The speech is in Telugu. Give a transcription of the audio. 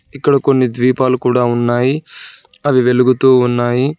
ఇక్కడ కొన్ని ద్వీపాలు కూడా ఉన్నాయి అవి వెలుగుతూ ఉన్నాయి.